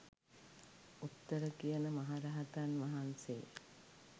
උත්තර කියන මහරහතන් වහන්සේ